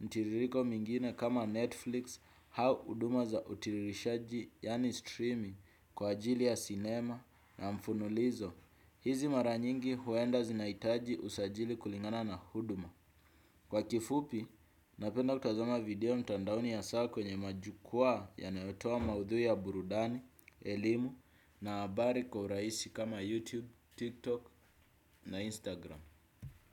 mtiririko mingine kama Netflix au huduma za utiririshaji yani streaming kwa ajili ya sinema na mfululizo. Hizi mara nyingi huenda zinahitaji usajili kulingana na huduma. Kwa kifupi napenda kutazama video mtandaoni hasa kwenye majukwaa yanayotoa maudhui ya burudani, elimu na habari kwa urahisi kama YouTube, TikTok na Instagram.